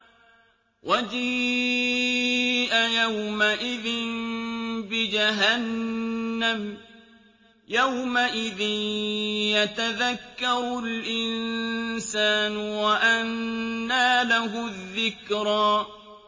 وَجِيءَ يَوْمَئِذٍ بِجَهَنَّمَ ۚ يَوْمَئِذٍ يَتَذَكَّرُ الْإِنسَانُ وَأَنَّىٰ لَهُ الذِّكْرَىٰ